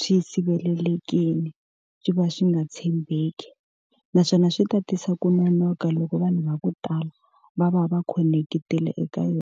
swi sirhelelekile, swi va swi nga tshembeki. Naswona swi ta tisa ku nonoka loko vanhu va ku tala va va va khonekitile eka yona.